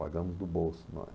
Pagamos do bolso, nós.